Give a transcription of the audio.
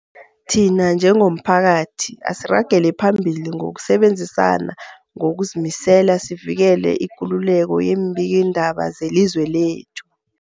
Thina njengomphakathi, asiragele phambili ngokusebenzisana ngokuzimisela sivikele ikululeko yeembikiindaba zelizwe lekhethu.